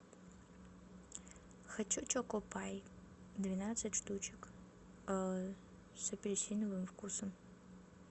хочу чоко пай двенадцать штучек с апельсиновым вкусом